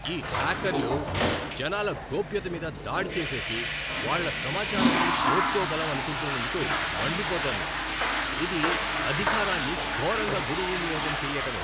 ఈ హ్యాకర్లు జనాల గోప్యతమీద దాడి చేసేసి, వాళ్ల సమాచారాన్ని దోచుకోగలం అనుకుంటున్నందుకు మండిపోతోంది. ఇది అధికారాన్ని ఘోరంగా దుర్వినియోగం చెయ్యటమే.